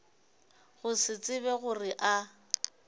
go se tsebe gore a